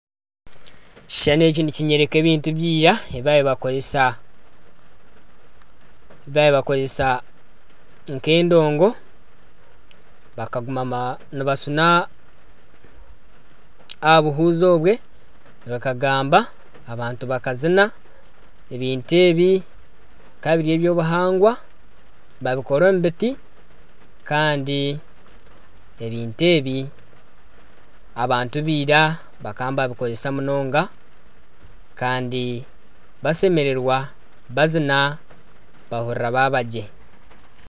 Ekishushani eki nikinyoreka ebintu byira ebi babaire nibakoresa nk'endongo nibashuna aha buhuzi obwe gakagamba abantu bakazina ebintu ebi bikaba biri ebyobuhangwa babikora omu biti kandi ebintu ebi abantu baira bakaba nibabikoresa munonga kandi bashemererwa bazina bahurira babagye.